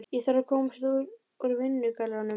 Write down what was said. Ég þarf að komast úr vinnugallanum.